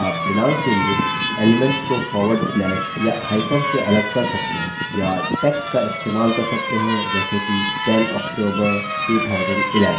आप दिनांक के elements को forward slash या hyphen से अलग कर सकते हैं या text का इस्तेमाल कर सकते हैं जैसे कि 10 october 2011